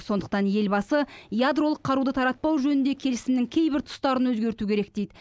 сондықтан елбасы ядролық қаруды таратпау жөнінде келісімнің кейбір тұстарын өзгерту керек дейді